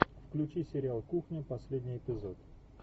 включи сериал кухня последний эпизод